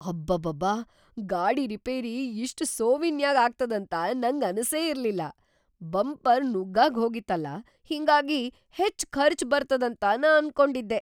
ಅಬಾಬಾಬಾ, ಗಾಡಿ ರಿಪೇರಿ ಇಷ್ಟ್ ಸೋವಿನ್ಯಾಗ್‌ ಆಗ್ತದಂತ ನಂಗ ಅನಸೇ ಇರ್ಲಿಲ್ಲಾ! ಬಂಪರ್‌ ನುಗ್ಗಾಗ್ಹೋಗಿತ್ತಲಾ ಹಿಂಗಾಗಿ ಹೆಚ್ಚ್ ಖರ್ಚ್‌ ಬರ್ತದಂತ ನಾ ಅನ್ಕೊಂಡಿದ್ದೆ.